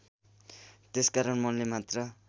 त्यसकारण मनले मात्र